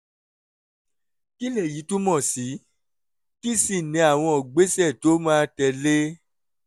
kí lèyí túmọ̀ sí kí sì ni àwọn ìgbésẹ̀ tó máa tẹ̀lé e?